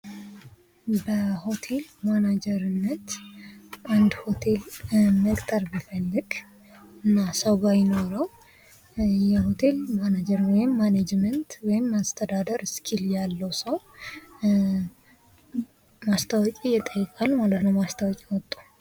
በሆቴል ማናጅርነት አንድ ሆቴል መቅጠር ቢፈልግ እና ሰው ባይኖረው ያሆቴል ማናጀር ወይም ማናጅመት ወይም አስተዳደር ስኪል ያለው ሰው ማስታወቂያ ይጠይቃል ማለት ነው ማስታወቂያ አውጥቶ።